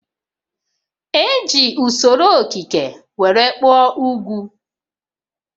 E ji usoro okike were kpụọ ugwu